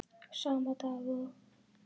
Sama dag og